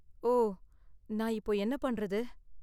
ஓ! நான் இப்போ என்ன பண்றது?